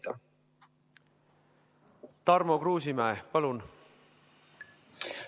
Tarmo Kruusimäe, palun!